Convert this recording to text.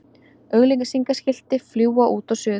Auglýsingaskilti fljúga út og suður